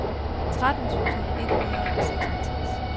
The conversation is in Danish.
tretten tusind et hundrede og seksoghalvtreds